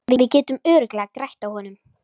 Við getum örugglega grætt á honum.